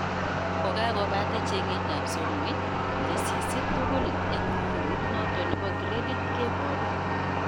Kokakobate chengetab somoit, tesisyit tugul eng muundoit noto nebo gradit keboru